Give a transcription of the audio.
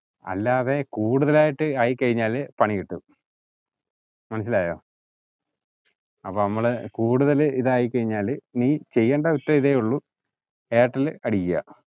അല്ലാതെ കൂടുതലായിട്ട് ആയി കഴിഞ്ഞാല് പണി കിട്ടു മനസ്സിലായോ അപ്പോ നമ്മള് കൂടുതല് ഇതായി കഴിഞ്ഞാല് നീ ചെയ്യേണ്ട അവസ്ഥ ഇതേ ഉള്ളു നീ എയര്ടെല് അടികുവ